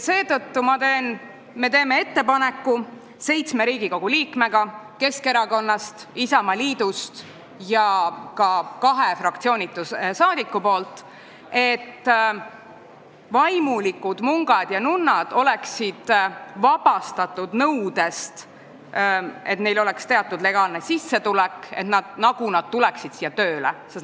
Seetõttu teevad seitse Riigikogu liiget – nad on Keskerakonnast ja Isamaast ning kaks on fraktsioonitud rahvasaadikud – ettepaneku, et vaimulikud, mungad ja nunnad oleksid vabastatud nõudest, et neil oleks teatud legaalne sissetulek, sest nad nagu tulevad siia tööle.